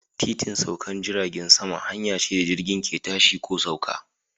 Titin saukar jiragen sama hanya ce da jirgin ke tashi ko sauka.